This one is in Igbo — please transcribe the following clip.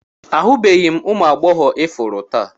Ahụbeghị m ụmụ agbọghọ ifuru taa